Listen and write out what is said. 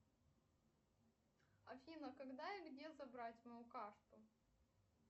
афина когда и где забрать мою карту